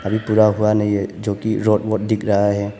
अभी पूरा हुआ नहीं है जोकि दिख रहा है।